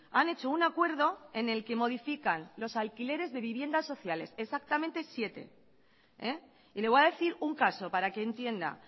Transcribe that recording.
han hecho un acuerdo en el que modifican los alquileres de viviendas sociales exactamente siete y le voy a decir un caso para que entienda